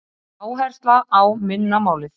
Áhersla á minna málið